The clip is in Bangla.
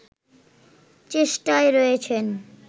চেষ্টায় রয়েছেন